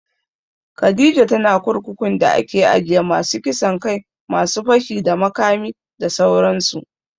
Khadijah tana kurkukun da ake ajiye masu kisan kai, masu fashi da makami da sauran su